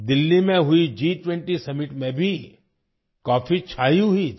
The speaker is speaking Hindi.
दिल्ली में हुई G 20 समिट में भी कॉफी छाई हुई थी